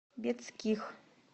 бетских